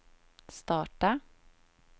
starta